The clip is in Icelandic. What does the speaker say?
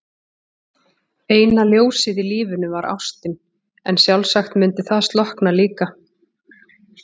Eina ljósið í lífinu var ástin, en sjálfsagt myndi það slokkna líka.